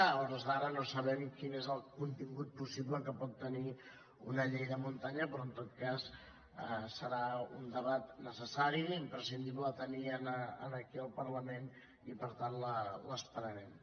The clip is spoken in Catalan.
a hores d’ara no sabem quin és el contingut possible que pot tenir una llei de muntanya però en tot cas serà un debat necessari i imprescindible de tenir aquí al parlament i per tant l’esperarem